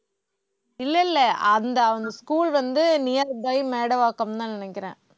இல்ல, இல்ல. அந்த அந்த school வந்து nearby மேடவாக்கம் தான் நினைக்கிறேன்